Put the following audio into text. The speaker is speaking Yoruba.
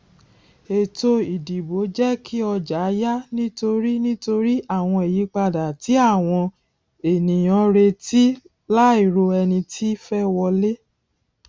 ètò ìdìbò jẹ kí ọjà yà nítorí nítorí àwọn ìyípadà tí àwọn ènìyàn retí láì ro ẹni tí fẹ wọlé